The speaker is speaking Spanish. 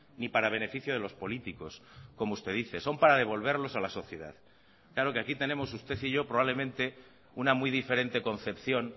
ni para beneficio de los políticos como usted dice son para devolverlos a la sociedad claro que aquí tenemos usted y yo probablemente una muy diferente concepción